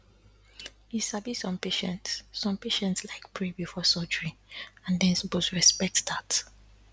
you sabi some patients some patients like pray before surgery and dem suppose respect dat